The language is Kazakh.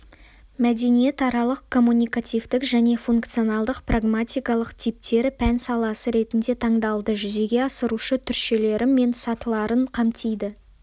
мәдениетаралық-коммуникативтік және функционалдық-прагматикалық типтері пән саласы ретінде таңдалды жүзеге асырушы түршелері мен сатыларын қамтиды